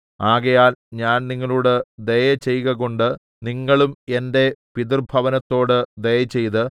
ആകയാൽ ഞാൻ നിങ്ങളോട് ദയ ചെയ്കകൊണ്ട് നിങ്ങളും എന്റെ പിതൃഭവനത്തോട് ദയചെയ്ത്